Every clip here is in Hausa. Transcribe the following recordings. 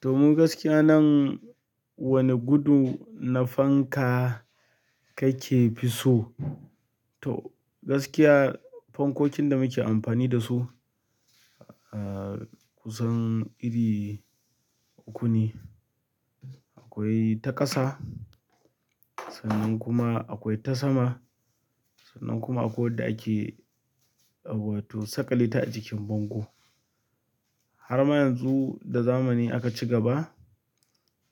To mu gaskiya mu nan wani gudu na fanka kakefi so? To gaskiya fankokin da muke amfani da su, ahhh kusan iri uku ne. Akwai ta ƙasa sannan kuma akwai ta sama. Sannan kuma akwai wadda ake, ah wato sakaleta a jikin bango. Har ma yanzu da zamani aka ci gaba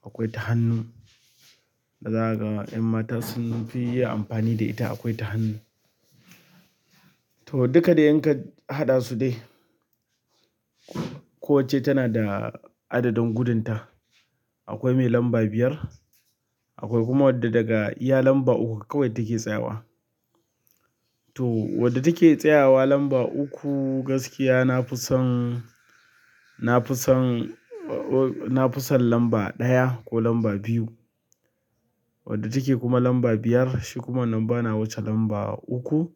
akwai ta hannu. Da zakaga ƴan mata sun fi yi amfani da ita, akwai ta hannu. To duka da yanka haɗa su dai. Ko wacce tana da adadin gudunta. Akwai mai lamba biyar, akwai kuma wadda daga iya lamba uku kawai take tsayawa. To wadda take tsayawa lamba uku gaskiya na fi son, na fi son, na fi son lamba ɗaya ko lamba biyu. Wadda take kuma lamba biyar shi kuma nan bana wuce lamba uku.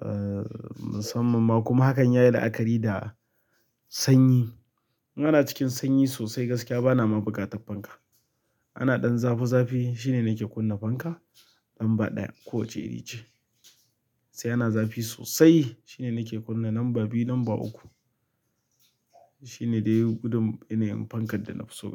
Ahhh, musamman ma kuma hakan yayi la'akari da sanyi. In ana cikin sanyi sosai gaskiya bana ma buƙata fanka. Ana ɗan zafi zafi shine nake kunna fanka lamba ɗaya, ko wacce iri ce. Sai ana zafi sosai shine nake kunna lamba biyu, lamba uku. Shine dai gudun yanayin fankar da nafiso gaskiya.